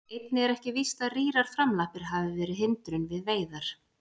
Einnig er ekki víst að rýrar framlappir hafi verið hindrun við veiðar.